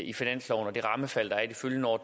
i finansloven og det rammefald der er i de følgende år